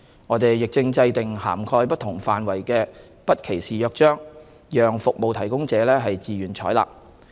我們亦正制訂涵蓋不同範圍的《不歧視約章》，讓服務提供者自願採納。